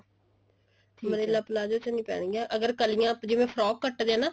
umbrella palazzo ਚ ਨਹੀਂ ਪੈਣਗੀਆ ਅਰ ਕਲੀਆਂ ਜਿਵੇਂ frock ਕੱਟਦੇ ਆ ਨਾ